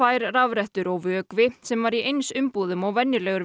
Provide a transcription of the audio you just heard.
tvær rafrettur og vökvi sem var í eins umbúðum og venjulegur